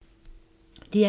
DR1